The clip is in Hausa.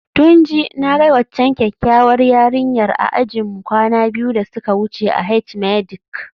Tunji, na ga waccan kyakkyawar yarinyar a ajinmu kwana biyu da suka wuce a H-medic